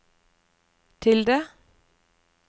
tilde